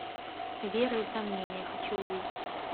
вера и сомнение хочу увидеть